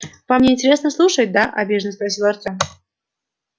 вам не интересно слушать да обиженно спросил артём